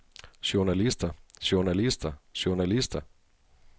journalister journalister journalister